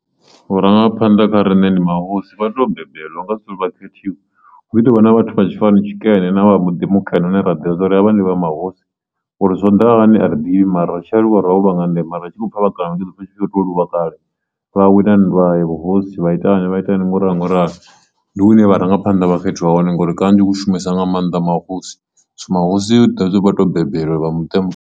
Vhurangaphanḓa kha riṋe ndi mahosi vhato bembelwa u nga si turi vha khethiwa hu ḓi to vha na vhathu vhatshifani tshikene na vha muḓi mukene hune ra dovha ravha ndi vha mahosi uri zwo ḓa hani a ri ḓivhi mara ri tshi aluwa ro nga ndeme ra tshi kho pfha vha kana ndi ḓo pfha vha tshi kho to luvha kale ra wina nndwa ya vhuhosi vha ita vhana vha ita hani ngo ralo ngo ralo, ndi hune vharangaphanḓa vha khethiwa hone ngori kanzhi hu shumesa nga maanḓa mahosi so mahosi hezwiḽa zwithu vho bebelwa vha muṱa muthihi.